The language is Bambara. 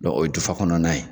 Dɔn o ye dufa kɔnɔna ye